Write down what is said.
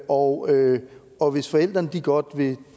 og og hvis forældrene godt vil